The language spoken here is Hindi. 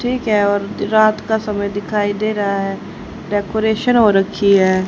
ठीक है और रात का समय दिखाई दे रहा है डेकोरेशन हो रखी है।